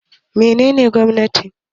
Me nene gwamnati?